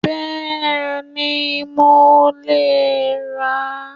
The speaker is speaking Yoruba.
Bẹ́ẹ̀ni, mo lè rà á